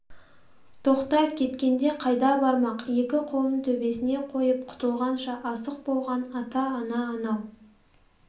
тоқта кеткенде қайда бармақ екі қолын төбесңне қойып құтылғанша асық болған ата-ана анау